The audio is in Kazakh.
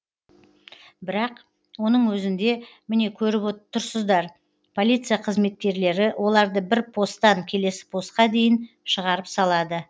бірақ оның өзінде міне көріп тұрсыздар полиция қызметкерлері оларды бір посттан келесі постқа дейін шығарып салады